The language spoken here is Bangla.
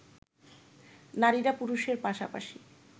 নারীরা পুরুষের পাশাপাশি